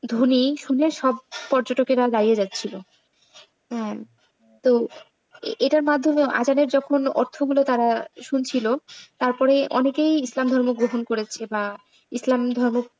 ধ্বনি শুনে সব পর্যটকেরা দাঁড়িয়ে যাচ্ছিল। হ্যাঁ তো এটার মাধ্যমে আযানের যখন অর্থ গুলো তারা শুনছিল তারপরে অনেকেই ইসলাম ধর্ম গ্রহণ করেছে বা ইসলাম ধর্ম,